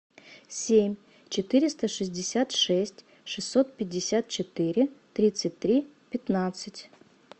семь четыреста шестьдесят шесть шестьсот пятьдесят четыре тридцать три пятнадцать